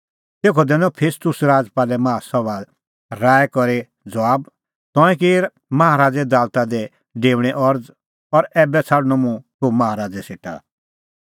तेखअ दैनअ फेस्तुस राजपालै माहा सभा राऐ करी ज़बाब तंऐं की माहा राज़े दालता दी डेऊणे अरज़ और ऐबै छ़ाडणअ मुंह तूह माहा राज़ै सेटा